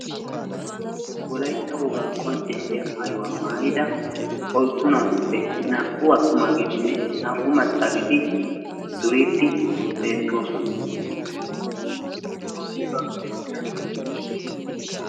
wolaytta wogaa maayuwa maayida oyddu naatuppe naa'u maccaageeti duriidi beetoosona.